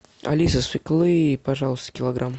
алиса свеклы пожалуйста килограмм